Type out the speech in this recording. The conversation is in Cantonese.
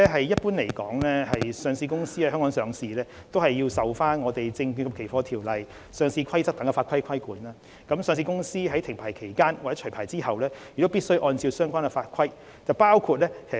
一般來說，上市公司在港上市受《證券及期貨條例》及《上市規則》等法規規管，停牌期間或除牌後亦必須按照相關法規處理業務。